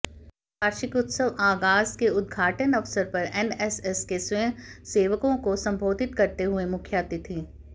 वार्षिक उत्सव आगाज के उद्घाटन अवसर पर एनएसएस के स्वयंसेवको को संबोधित करते हुए मुख्यातिथि